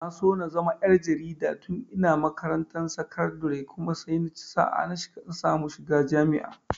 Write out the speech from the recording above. Na so na zama ƴar jarida tun ina makarantar sakandire kuma sai naci sa'a na samu shiga jami'a.